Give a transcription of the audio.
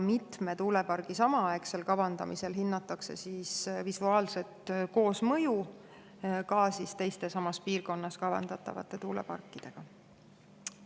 Mitme tuulepargi samaaegsel kavandamisel hinnatakse visuaalset koosmõju ka teiste samas piirkonnas kavandatavate tuuleparkidega.